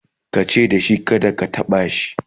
tace dashi kada ka taɓa shi!"